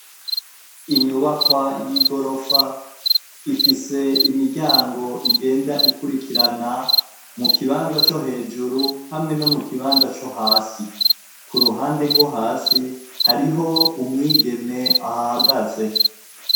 Inyubakwa y'igorofa ifise imiryango igenda ikurikirana mu kibanza co hejuru, hamwe no mu kibanza co hasi. Ku ruhande rwo hasi hariho umwigeme ahahagaze.